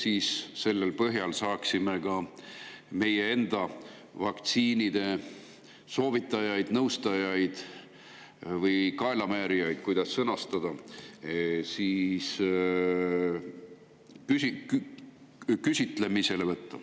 Siis selle põhjal saaksime ka meie enda vaktsiinide soovitajaid, nõustajaid või kaelamäärijaid, kuidas sõnastada, küsitleda.